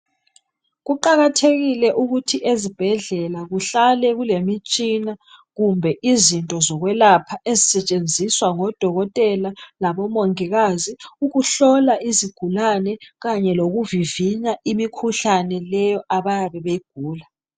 Kuqakathekile ukuthi ezibhedlela kuhlale kulemitshina, kumbe izinto zokwelapha ezisetshenziswa ngodokotela labomongikazi ukuhlola izigulane kanye lokuvivinya imikhuhlane leyo abayabe beyigula.